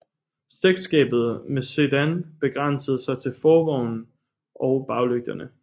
Slægtskabet med sedan begrænsede sig til forvognen og baglygterne